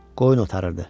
Qoyun otarırdı.